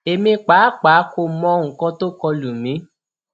èmi pàápàá kò mọ nǹkan tó kọ lù mí